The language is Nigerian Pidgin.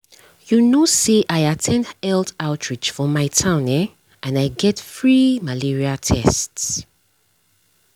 you know say i at ten d health outreach for my town eh and i get free malaria tests.